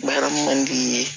Baara man di i ye